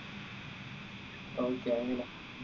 okay അങ്ങനെ